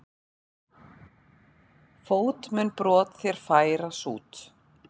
Fót mun brot þér færa sút.